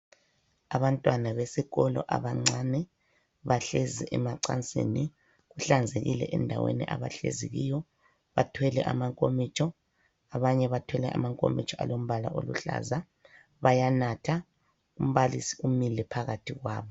Abantwana besikolo abancane. Bahlezi emacansini, kuhlanzekile endaweni abahlezi kiyo. Bathwele amankomitsho, abanye bathwele amankomitsho alombala oluhlaza bayanatha. Umbalisi umile phakathi kwabo.